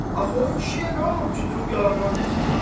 Axı o kişiyə nə olub ki durub yalandan desin?